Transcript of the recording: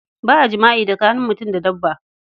Ba a jama'i tsakanin mutum da dabba.